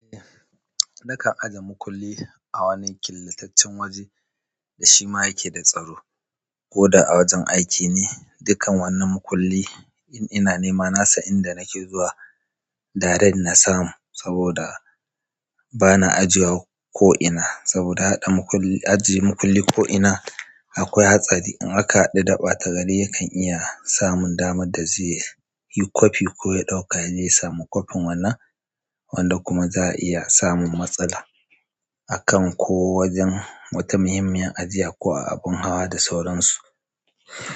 Eh, nakan aje makulli a wani killataccen waje da shima yake da tsaro. Koda a wajen aiki ne, dukkan wannan makulli in ina nema nasan inda nake zuwa, direct nasamu saboda bana ajiyewa ko'ina. Saboda haɗa makulli, ajiye makulli ko'ina akwai hatsari in aka haɗu da ɓata gari yakan iya samun daman da zai yi kwafi ko ya ɗauka yaje ya samu kwafin wannan, wanda kuma za'a iya samun matsala akan ko wajen wata muhimmiyar ajiya ko a abin hawa da sauransu.